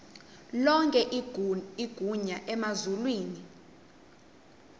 lonke igunya emazulwini